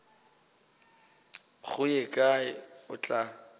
go ye kae o tla